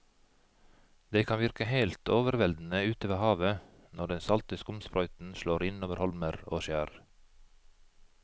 Det kan virke helt overveldende ute ved havet når den salte skumsprøyten slår innover holmer og skjær.